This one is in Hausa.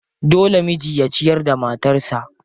Dole miji ya ciyar da matarsa.